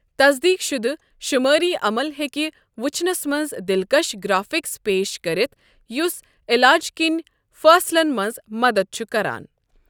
تصدیٖق شُدٕ شٗمٲری عمل ہیٚکہ وٕچھنَس منٛز دلکَش گرافکس پیش کٔرِتھ یُس علاجِ کین فٲصلَن منٛز مدد چھ کران۔